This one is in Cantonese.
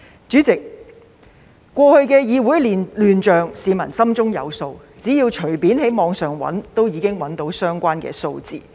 主席，過去的議會亂象，市民心中有數，只要隨便在網上搜尋，都可以找到相關數字。